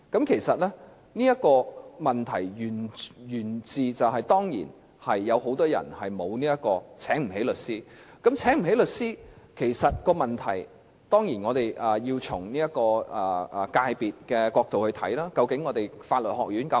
其實，這問題當然源自很多人沒有能力聘請律師，就這方面，當然我們要從界別的角度來看，究竟香港的法律學院是否足夠？